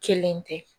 Kelen tɛ